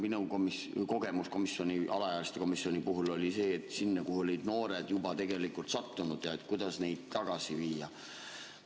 Minu kogemus alaealiste komisjoni puhul oli see, et sinna olid noored juba sattunud ja, kuidas neid tagasi viia.